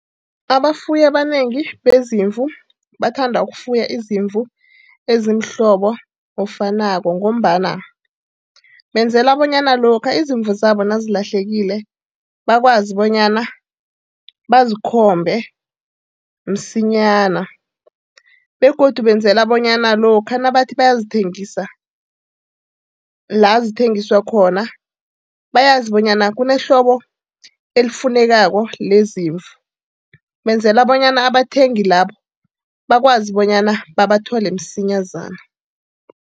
Abafuyi abanengi bezimvu bathanda ukufuya izimvu ezimhlobo ofanako ngombana benzela bonyana lokha izimvu zabo nazilahlekile, bakwazi bonyana bazikhombe msinyana, begodu benzela bonyana lokha nabathi bayazithengisa la zithengiswa khona, bayazi bonyana kunehlobo elifunekako lezimvu. Benzela bonyana abathengi labo bakwazi bonyana babathole msinyazana.